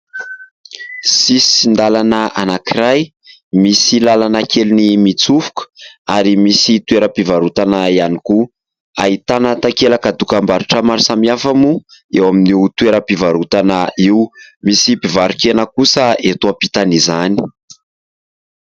Sisin-dalana anankiray misy lalana kely mitsofoka ary misy toera-pivarotana ihany koa. Ahitana takelaka dokambarotra maro samihafa moa eo amin'ny toeram-pivarotana io. Misy mpivarokena kosa eto am-pitan'izany.